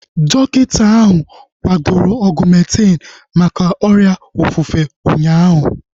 Dọkịta ahu kwadoro Ọgumentin maka ọrịa ofufe ụnyaahụ